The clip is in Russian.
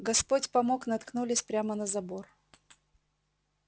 господь помог наткнулись прямо на забор